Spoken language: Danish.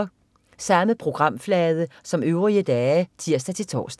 Samme programflade som øvrige dage (tirs-tors)